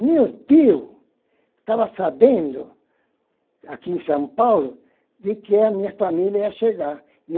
Meu tio estava sabendo, aqui em São Paulo, de que a minha família ia chegar.